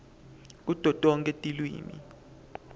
kuto tonkhe tilwimi